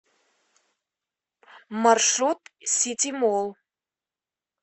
маршрут ситимолл